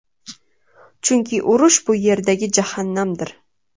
Chunki urush bu Yerdagi jahannamdir.